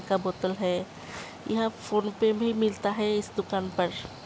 पानी का बोतल है ईहाँ फोन पर भी मिलता है इस दुकान पर।